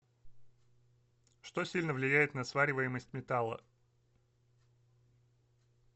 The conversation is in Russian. что сильно влияет на свариваемость металла